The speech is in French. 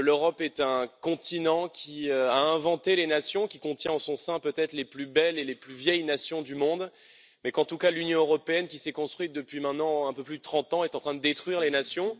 Je pense que l'Europe est un continent, qui a inventé les nations, qui contient en son sein, peut être les plus belles et les plus vieilles nations du monde, mais qu'en tout cas, l'Union européenne, qui s'est construite depuis maintenant un peu plus de 30 ans, est en train de détruire les nations.